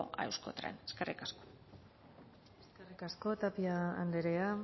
a euskotren eskerrik asko eskerrik asko tapia andrea